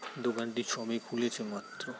দোকানটি সবে খুলছে মাত্র।